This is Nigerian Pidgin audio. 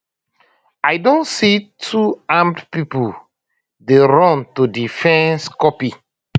i don see two armed pipo dey run to di fence copy